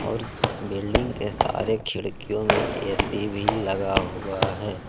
और इस बिल्डिंग के सारे खिड़कियों में ए_सी भी लगा हुआ है।